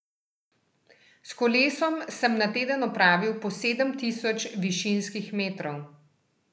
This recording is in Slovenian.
S kolesom sem na teden opravil po sedem tisoč višinskih metrov.